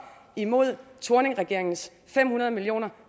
imod thorningregeringens fem hundrede million